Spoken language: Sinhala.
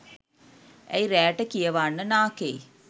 ඇයි රෑට කියවන්න නාකෙයි?